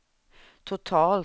totalt